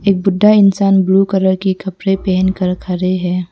एक बुड्ढा इंसान ब्लू कलर की कपड़े पहन कर खड़े हैं।